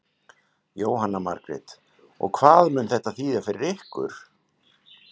Jóhanna Margrét: Og hvað mun þetta þýða fyrir ykkur?